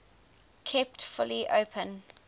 kept fully open